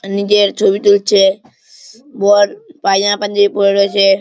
নিজের ছবি তুলছে বর পাজামা পাঞ্জাবি পরে রয়েছে।